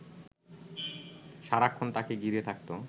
সারাক্ষণ তাঁকে ঘিরে থাকত